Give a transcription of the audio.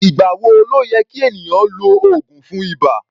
Ìgbà wo ló yẹ kí ènìyàn lo oògùn fún ibà?